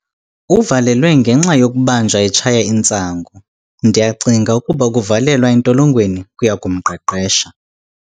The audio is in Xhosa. Uvalelwe ngenxa yokubanjwa etshaya intsangu. ndiyacinga ukuba ukuvalelwa entolongweni kuya kumqeqesha